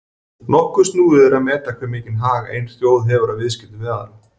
Nokkuð snúið er að meta hve mikinn hag ein þjóð hefur af viðskiptum við aðra.